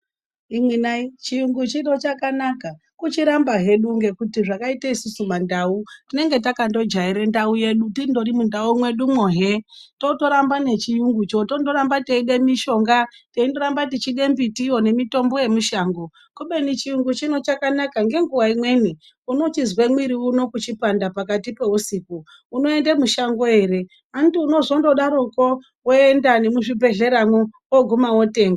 Imwinayi chirungu chino chakanaka kuchiramba hedu ngekuti zvakaite isusu mandau tinenge takangojaire ndau yedu tindori mundau mwedumwo hee totoramba nechiyungucho tondoramba teide mishonga teindoramba tichide mbitiyo nemitombo yemushango kubeni chiyu chino chakanaka nenguwa imweni unochizwe mwiri uno kuchipanda pakati peusiku unoende mushango ere , Andi unozondodaroko woenda nemuzvibhedhleramwo woguma wotenga.